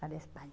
Para a Espanha.